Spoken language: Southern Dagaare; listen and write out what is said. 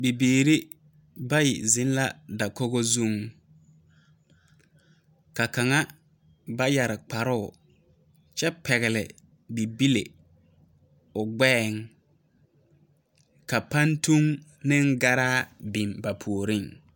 Bibiiri bayi zeŋ la dakogi zeŋ, ka kaŋa ba yɛre kparoŋ kyɛ pɛgele bibile o gbɛɛŋ ka pantol meŋ garaa biŋ ba puoriŋ.